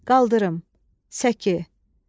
Qaldırım, səki.